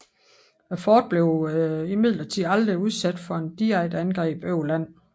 Fortet blev imidlertid aldrig udsat for et direkte angreb over land